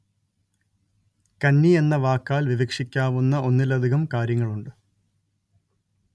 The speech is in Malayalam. കന്നി എന്ന വാക്കാല്‍ വിവക്ഷിക്കാവുന്ന ഒന്നിലധികം കാര്യങ്ങളുണ്ട്